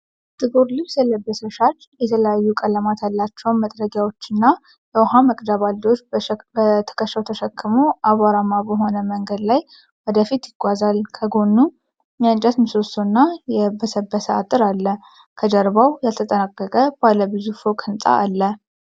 ጥቁር ልብስ የለበሰ ሻጭ፣ የተለያዩ ቀለማት ያላቸውን መጥረጊያዎችና የውሃ መቅጃ ባልዲዎችን በትከሻው ተሸክሞ አቧራማ በሆነ መንገድ ላይ ወደ ፊት ይጓዛል። ከጎኑ የእንጨት ምሰሶ እና የበሰበሰ አጥር አለ። ከጀርባው ያልተጠናቀቀ ባለ ብዙ ፎቅ ሕንፃ አለ።